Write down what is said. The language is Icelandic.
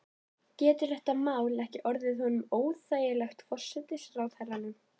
Getur þetta mál ekki orðið honum óþægilegt, forsætisráðherranum?